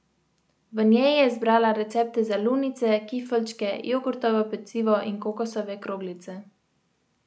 V njej je zbrala recepte za lunice, kifeljčke, jogurtovo pecivo in kokosove kroglice.